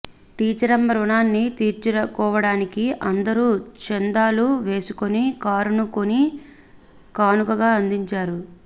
టీచరమ్మ రుణాన్ని తీర్చుకోవడానికి అందరూ చందాలు వేసుకుని కారును కొని కానుకగా అందించారు